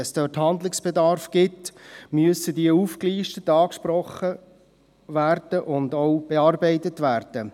Wenn es dort Handlungsbedarf gibt, muss dieser aufgelistet, angesprochen und auch bearbeitet werden.